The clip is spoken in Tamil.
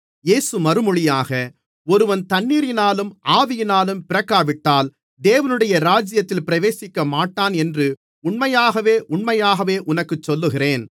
இயேசு மறுமொழியாக ஒருவன் தண்ணீரினாலும் ஆவியினாலும் பிறக்காவிட்டால் தேவனுடைய ராஜ்யத்தில் பிரவேசிக்கமாட்டான் என்று உண்மையாகவே உண்மையாகவே உனக்குச் சொல்லுகிறேன்